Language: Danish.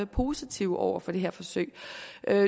positive over for det her forsøg